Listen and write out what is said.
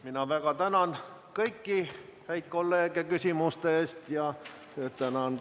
Mina väga tänan kõiki häid kolleege küsimuste eest ja tänan ka valitsuse liikmeid vastamast.